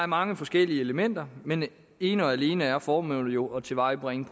mange forskellige elementer men ene og alene er formålet jo at tilvejebringe